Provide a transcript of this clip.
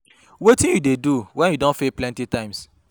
Wetin you dey do when you don fail plenty times?